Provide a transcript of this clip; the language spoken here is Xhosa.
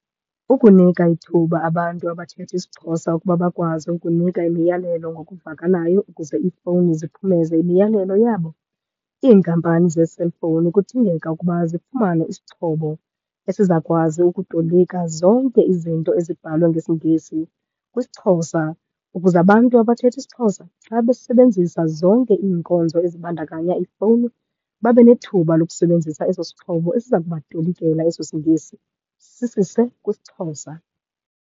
Ukunika ithuba abantu abathetha isiXhosa ukuba bakwazi ukunika imiyalelo ngokuvakalayo ukuze iifowuni ziphumeze imiyalelo yabo. Iinkampani zee-cellphone kudingeka ukuba zifumane isixhobo esizakwazi ukutolika zonke izinto ezibhalwe ngesiNgesi kwisiXhosa ukuze abantu abathetha isiXhosa xa besebenzisa zonke iinkonzo ezibandakanya ifowuni, babe nethuba lokusebenzisa eso sixhobo, esiza kubatolikela eso siNgesi sisise kwisiXhosa.